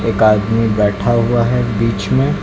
एक आदमी बैठा हुआ है बीच में।